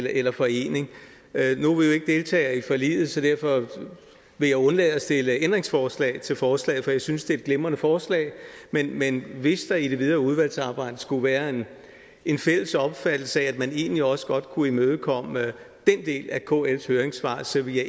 eller forening nu deltager i forliget så derfor vil jeg undlade at stille ændringsforslag til forslaget jeg synes det er et glimrende forslag men men hvis der i det videre udvalgsarbejde skulle være en fælles opfattelse af at man egentlig også godt kunne imødekomme den del af kls høringssvar så ville